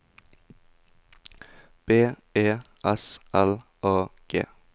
B E S L A G